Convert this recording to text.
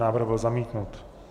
Návrh byl zamítnut.